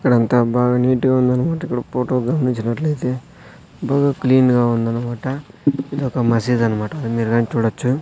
ఇక్కడంతా బాగా నీట్ గా ఉందన్నమాట ఇక్కడ ఫోటో గమనించినట్లయితే బాగా క్లీన్ గా ఉందన్నమాట ఇదొక మసీదన్నమాట అది మీరుగని చూడచ్చు.